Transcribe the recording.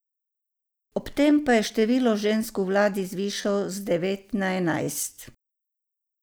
Ob tem pa je število žensk v vladi zvišal z devet na enajst.